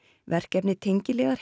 verkefni tengiliðar